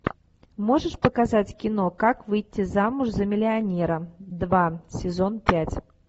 можешь показать кино как выйти замуж за миллионера два сезон пять